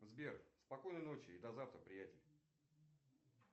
сбер спокойной ночи и до завтра приятель